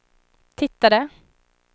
tittade